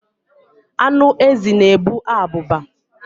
Anụ ezi na-ebu abụba.